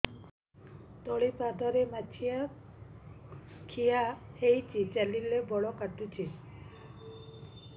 ତଳିପାଦରେ ମାଛିଆ ଖିଆ ହେଇଚି ଚାଲିଲେ ବଡ଼ କାଟୁଚି